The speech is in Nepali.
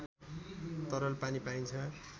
तरल पानी पाइन्छ